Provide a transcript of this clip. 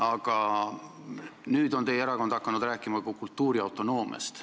Aga nüüd on teie erakond hakanud rääkima ka kultuuriautonoomiast.